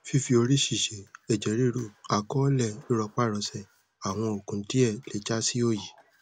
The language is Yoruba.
fífi orí ṣìṣe ẹjẹ ríru àkọọlẹ rírọparọsẹ àwọn òògùn díẹ lè já sí òòyì